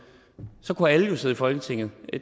så kunne alle jo sidde i folketinget